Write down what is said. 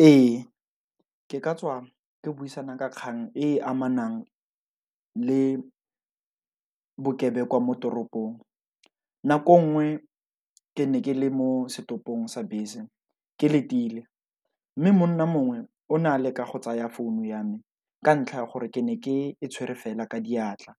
Ee ke ka tswa ke buisana ka kgang e amanang le bokebekwa mo toropong, nako e nngwe, ke ne ke le mo setopong sa bese ke letile, mme monna mongwe o na leka go tsaya founu ya me ka ntlha ya gore ke ne ke e tshwere fela ka diatla,